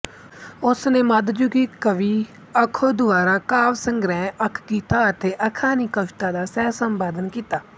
ਉਸਨੇ ਮੱਧਯੁਗੀ ਕਵੀ ਅਖੋ ਦੁਆਰਾ ਕਾਵਿ ਸੰਗ੍ਰਹਿ ਅਖਗੀਤਾ ਅਤੇ ਅਖਾ ਨੀ ਕਵਿਤਾ ਦਾ ਸਹਿਸੰਪਾਦਨ ਕੀਤਾ